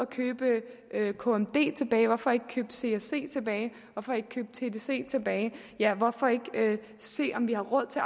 købe kmd tilbage hvorfor ikke købe csc tilbage hvorfor ikke købe tdc tilbage ja hvorfor ikke se om vi har råd til